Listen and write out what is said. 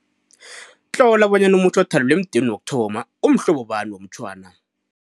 2.1 Tlola bonyana umutjho othalelwe emudeni woku-1 umhlobo bani womutjhwana.